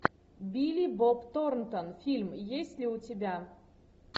билли боб торнтон фильм есть ли у тебя